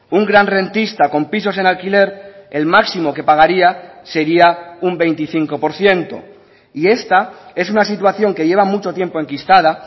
un gran rentista con pisos en alquiler el máximo que pagaría sería un veinticinco por ciento y esta es una situación que lleva mucho tiempo enquistada